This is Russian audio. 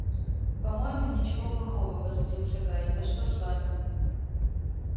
по-моему ничего плохого возмутился гарри да что с вами